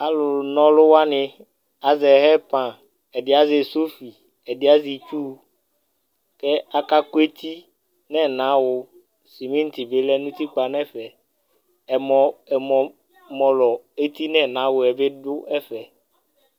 Alu nɔlu wani azɛ hɛpanƐdi azɛ sɔfi , ɛdi asɛ itsu kɛɛ akakʋ eti nɛnawuSimiŋti bi lɛ nutikpa nɛfɛƐmɔ, ɛmɔ mɔlɔ eti nɛnawuɛ bi dʋ ɛfɛ